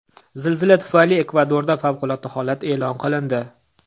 Zilzila tufayli Ekvadorda favqulodda holat e’lon qilindi.